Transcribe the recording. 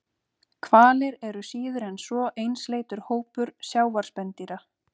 Hvalir eru síður en svo einsleitur hópur sjávarspendýra.